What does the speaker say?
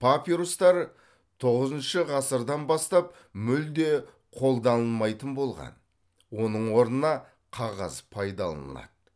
папирустар тоғызыншы ғасырдан бастап мүлде қолданылмайтын болған оның орнына қағаз пайдаланылады